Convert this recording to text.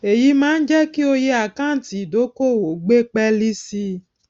èyí máa ń jẹ kí oye àkáǹtì ídókòwó gbé pẹẹlí sí i